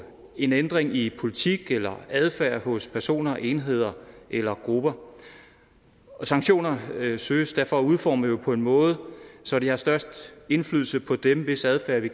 en ændring i politik eller adfærd hos personer enheder eller grupper sanktioner søges derfor udformet på en måde så de har størst indflydelse på dem hvis adfærd vi